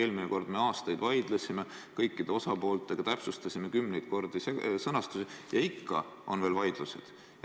Eelmine kord me vaidlesime aastaid kõikide osapooltega, täpsustasime kümneid kordi sõnastusi, ja ikka on veel vaidlusi.